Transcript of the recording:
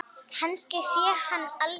Kannski sé ég hann aldrei.